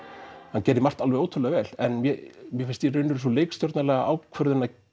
hann gerði margt ótrúlega vel en mér fannst sú ákvörðun að